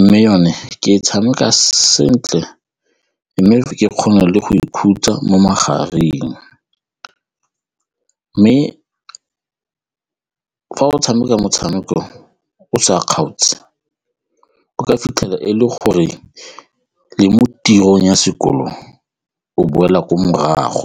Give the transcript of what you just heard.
mme yone ke e tshameka sentle mme ke kgone le go ikhutsa mo magareng mme fa o tshameka motshameko o sa kgaotse o ka fitlhela e le gore le mo tirong ya sekolong o boela ko morago.